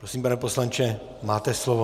Prosím, pane poslanče, máte slovo.